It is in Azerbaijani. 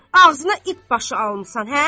Ağzına it başı almısan, hə?